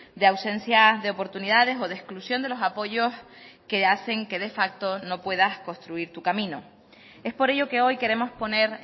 de ausencia de oportunidades o de exclusión de los apoyos que hacen que de facto no puedas construir tu camino es por ello que hoy queremos poner